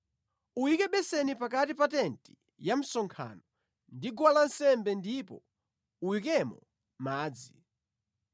Uyike beseni pakati pa tenti ya msonkhano ndi guwa lansembe ndipo uyikemo madzi.